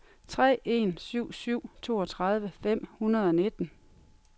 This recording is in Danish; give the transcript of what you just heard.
tre en syv syv toogtredive fem hundrede og nitten